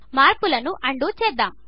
మార్పులను అన్డూ చేద్దాము